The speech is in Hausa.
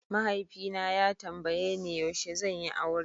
Mahaifi na ya tambaye ni yaushe zan yi aure.